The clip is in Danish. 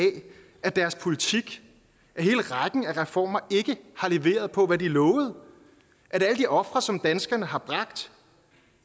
at deres politik at hele rækken af reformer ikke har leveret på hvad de lovede at alle de ofre som danskerne har bragt